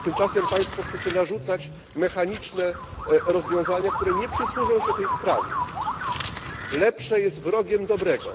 Tymczasem Państwo chcą narzucać mechaniczne rozwiązania, które nie przysłużą się tej sprawie. Lepsze jest wrogiem dobrego.